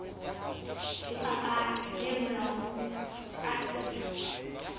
lefapha le molaong ka tsela